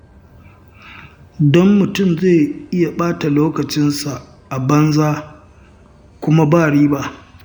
Don mutum zai iya ɓata lokacinsa a banza kuma ba riba.